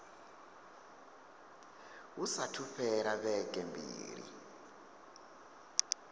hu saathu fhela vhege mbili